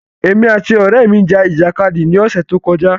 Èmi àti ọrẹ mi ja ìjàkadì ní ọsẹ tó kọjá